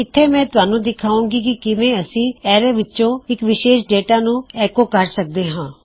ਇਥੇ ਮੈਂ ਤੁਹਾਨੂੰ ਦਿਖਾਂਵਾਗੀ ਕੀ ਕਿਵੇਂ ਅਸੀਂ ਐਰੇ ਵਿੱਚੋਂ ਇੱਕ ਵਿਸ਼ੇਸ਼ ਡਾਟਾ ਨੂੰ ਐੱਕੋ ਕਰ ਸਕਦੇ ਹਾਂ